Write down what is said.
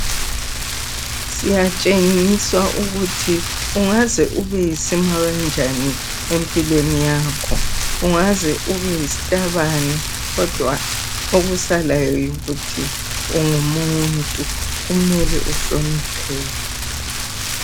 Siyatshengiswa ukuthi ungaze ube yisima kanjani empilweni yakho, ungaze ube yisitabane kodwa okusalayo yikuthi ungumuntu. Kumele uhlonipheke.